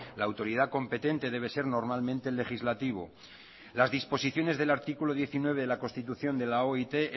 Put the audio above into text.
la autoridad competente debe ser normalmente el legislativo las disposiciones del artículo diecinueve de la constitución de la oit